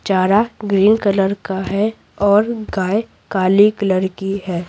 चारा green colour है और गाय काली कलर की है।